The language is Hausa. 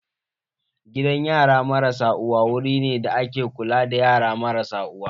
Gidan yara marasa uwa wuru ne da ake kula da yara marasa uwa.